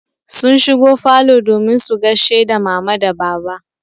Sun shigo falo domin su gaishe da mama da baba.